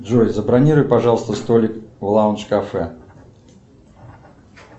джой забронируй пожалуйста столик в лаундж кафе